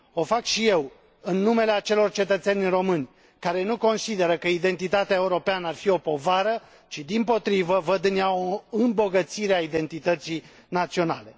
O fac și eu, în numele acelor cetățeni români care nu consideră că identitatea europeană ar fi o povară, ci, dimpotrivă, văd în ea o îmbogățire a identității naționale.